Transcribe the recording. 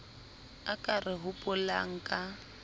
a ka re hopolang ka